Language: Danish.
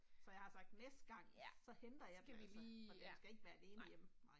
Så jeg har sagt næste gang, så henter jeg den altså, for den skal ikke være alene hjemme, nej